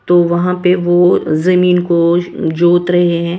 तो वहां पे वो जमीन को जोत रहे हैं।